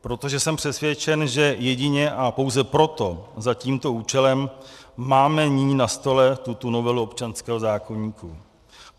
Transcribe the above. Protože jsem přesvědčen, že jedině a pouze proto, za tímto účelem máme nyní na stole tuto novelu občanského zákoníku.